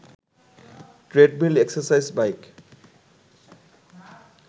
treadmill, exercise bike